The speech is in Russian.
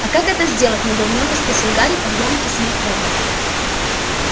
а как это сделать недоуменно спросил гарри под громкий смех рона